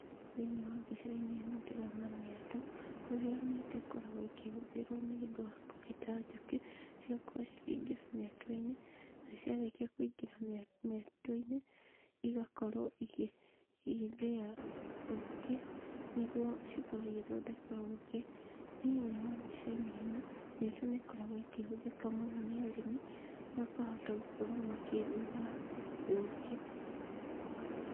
Thĩiniĩ wa mbica-inĩ ĩno ndĩrona mĩatũ, kũrĩa mĩatũ ĩkoragwo ĩkĩhũthĩrwo nĩ ũndũ wa kũhĩta njũkĩ, cigakorwo cikĩingira mĩatũ-inĩ na ciarĩkia kũingĩra mĩatũ-inĩ, igakorwo igĩthĩa ũkĩ nĩguo cikorwo igĩthondeka ũkĩ. Thĩiniĩ wa mbica-inĩ ĩno, mĩatũ nĩ ĩkoragwo ĩkĩhũthĩka mũno nĩ arĩmi, makahota gũkorwo makĩrĩma ũkĩ.